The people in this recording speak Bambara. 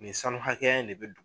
Nin sanu hakɛya in de bɛ